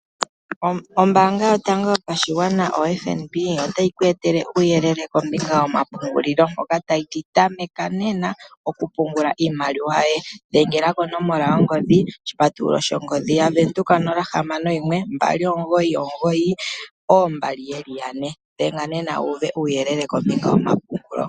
Ombanga yotango yopashigwana oFNB otayi ku etele omawuyelele kombinga yomapungulilo mpoka tayi ti tameka nena, oku pungula iimaliwa yoye. Dhengela konomola yongodhi oshipatululo shongodhi yaVenduka nola hamano yimwe mbali omugoyi omugoyi oombali yeli yane. Dhenga nena wu uve uuyelele kombinga yomapungulo.